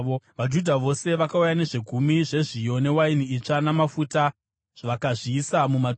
VaJudha vose vakauya nezvegumi zvezviyo, newaini itsva namafuta vakazviisa mumatura.